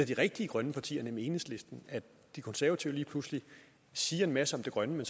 de rigtige grønne partier nemlig enhedslisten at de konservative lige pludselig siger en masse om det grønne